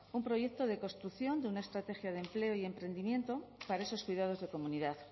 un proyecto de construcción de una estrategia de empleo y emprendimiento para esos cuidados de comunidad